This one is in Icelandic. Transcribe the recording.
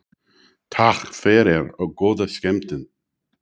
Takk fyrir og góða skemmtun.